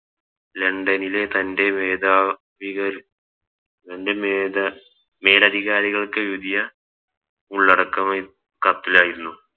ലണ്ടനിലെ തൻറെ മേധാ വികർ തൻറെ മേധാ മേലധികാരികൾക്ക് വലിയ ഉള്ളടക്കം കത്തിലായിരുന്നു